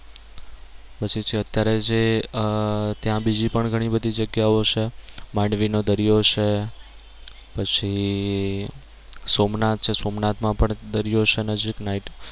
પછી છે અત્યારે જે આહ ત્યાં બીજી પણ ઘણી બધી જગ્યાઓ છે માંડવી નો દરિયો છે પછી સોમનાથ છે સોમનાથ માં પણ દરિયો છે નજીક night